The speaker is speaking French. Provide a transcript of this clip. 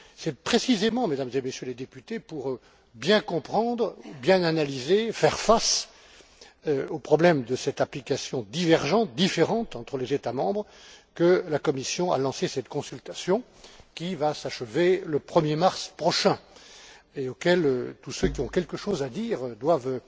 C'est précisément, Mesdames et Messieurs les députés, pour bien comprendre, bien analyser, faire face au problème de cette application divergente, différente entre les États membres que la Commission a lancé cette consultation, qui va s'achever le 1er mars prochain, et à laquelle tous ceux qui ont quelque chose à dire doivent